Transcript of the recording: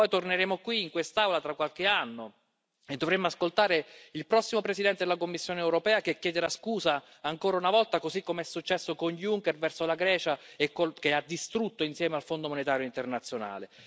Poi torneremo qui, in quest'Aula, tra qualche anno e dovremo ascoltare il prossimo Presidente della Commissione europea che chiederà scusa, ancora una volta, così come è successo con Juncker, alla Grecia, che ha distrutto insieme al Fondo monetario internazionale.